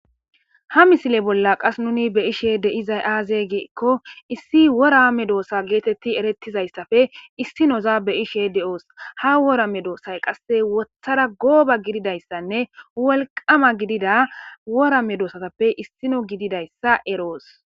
Ha misile bolla qasse nuni be7ishe de7izay aaze gizayssa gidikko issi wora meedosa geeteti erettizayssappe issinoza be7ishe de7osi. Ha wora meedosay qasse woththara gooba gididayssane wolqqama gidida wora medosatappe issino gididayssa eroosi.